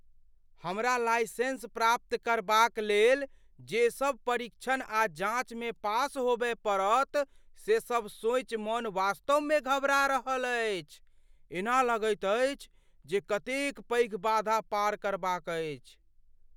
हमरा लाइसेंस प्राप्त करबाक लेल जे सभ परीक्षण आ जाँचमे पास होबय पड़त से सब सोचि मन वास्तवमे घबरा रहल अछि। एना लगैत अछि जे कतेक पैघ बाधा पार करबाक अछि।